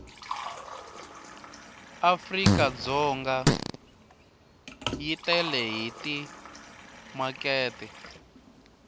afrikadzonga yi tele hi timakete